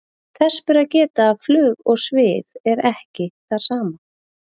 þess ber að geta að flug og svif er ekki það sama